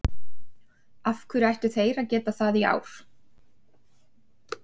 Af hverju ættu þeir að geta það í ár?